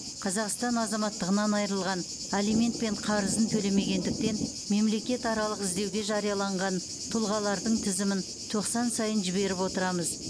қазақстан азаматтығынан айырылған алимент пен қарызын төлемегендіктен мемлекетаралық іздеуге жарияланған тұлғалардың тізімін тоқсан сайын жіберіп отырамыз